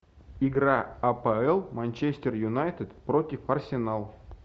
игра апл манчестер юнайтед против арсенал